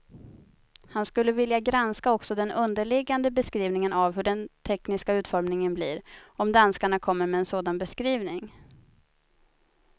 Han skulle vilja granska också den underliggande beskrivningen av hur den tekniska utformningen blir, om danskarna kommer med en sådan beskrivning.